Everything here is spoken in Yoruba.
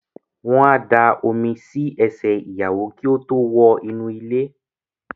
Wọ́n á da omi si ẹsẹ̀ ìyàwó kí ó tó wọ inú ilé